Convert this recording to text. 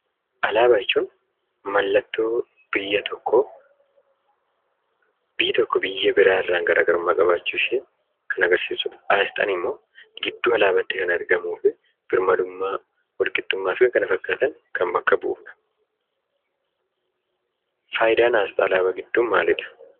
Alaabaa jechuun mallattoo biyya tokkoo, biyyi tokko biyya buraa irraa garaagarummaa qabaachuu ishee kan agarsiisuudha. Aasxaan immoo gidduu alaabaatti kan argamuu fi birmadummaa, walqixxummaa fi kan kana fakkaatan kan bakka bu'uudha. Faayidaan aasxaa alaabaa gidduu maaliidha?